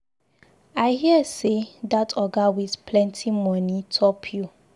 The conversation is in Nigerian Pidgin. I hear say dat oga with plenty money top you.